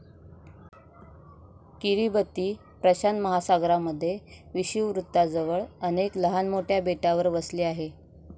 Kiribati प्रशांत महासागरामध्ये विषुववृत्ताजवळ अनेक लहान मोठ्या बेटावर वसले आहे.